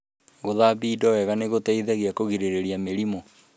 Gũthambia indo wega nĩ gũteithagia kũgirĩrĩria mĩrimũ.